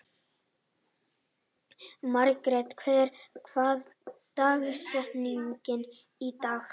Margret, hver er dagsetningin í dag?